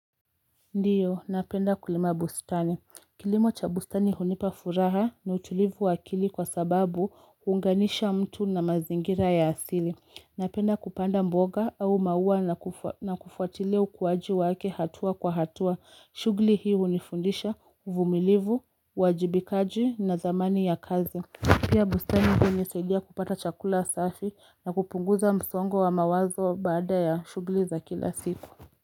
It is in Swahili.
Ndiyo, napenda kulima bustani. Kilimo cha bustani hunipa furaha na utulivu wa akili kwa sababu huunganisha mtu na mazingira ya asili. Napenda kupanda mboga au maua na kufuatilia ukuwaji wake hatua kwa hatua. Shughuli hii hunifundisha, uvumilivu, uwajibikaji na dhamani ya kazi. Pia bustani hunisaidia kupata chakula safi na kupunguza msongo wa mawazo baada ya shughuli za kila siku.